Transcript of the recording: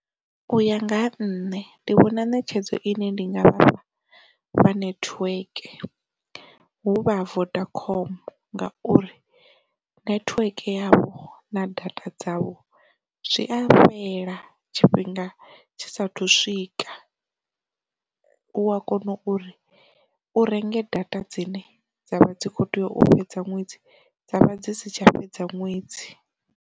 U ya nga ha nṋe ndi vhona netshedzo ine ndi ngafha network huvha Vodacom ngauri nethiweke yavho na data dzavho zwi a fhela tshifhinga tshisa thu swika, u a kona uri u renge data dzine dzavha dzi kho tea u fhedza ṅwedzi dzavha dzi si tsha fhedza ṅwedzi.